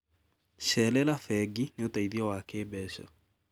Cerera bengi nĩ ũteithio wa kĩmbeca.